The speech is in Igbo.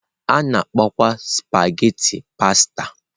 A na-akpọkwa spaghetị pasta.